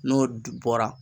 N'o bɔra